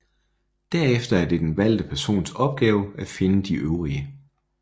Derefter er det den valgte persons opgave at finde de øvrige